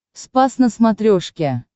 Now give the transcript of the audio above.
спас на смотрешке